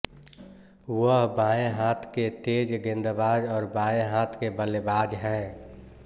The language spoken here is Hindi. वह बाएं हाथ के तेज गेंदबाज और बाएं हाथ के बल्लेबाज हैं